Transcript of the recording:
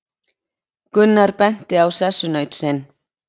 Gunnar benti á sessunaut sinn.